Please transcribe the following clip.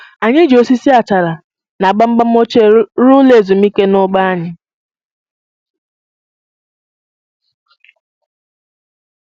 Anyị ji osisi achara na gbamgbam ochie rụọ ụlọ ezumike n'ugbo anyị